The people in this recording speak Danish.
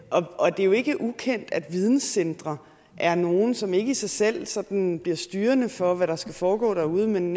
og det er jo ikke ukendt at videncentre er nogle som ikke i sig selv sådan bliver styrende for hvad der skal foregå derude men